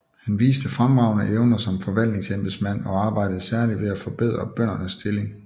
Han viste fremragende evner som forvaltningsembedsmand og arbejdede særlig for at forbedre bøndernes stilling